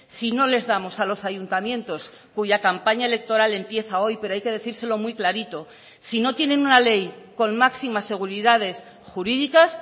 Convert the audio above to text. si no les damos a los ayuntamientos cuya campaña electoral empieza hoy pero hay que decírselo muy clarito si no tienen una ley con máximas seguridades jurídicas